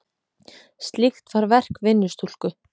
Slíkt var verk vinnustúlku.